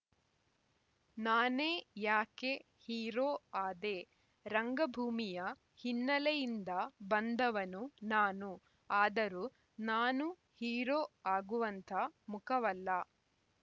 ನಾನೇ ಯಾಕೆ ಹೀರೋ ಆದೆ ರಂಗಭೂಮಿಯ ಹಿನ್ನೆಲೆಯಿಂದ ಬಂದವನು ನಾನು ಆದರೂ ನಾನು ಹೀರೋ ಆಗುವಂಥ ಮುಖವಲ್ಲ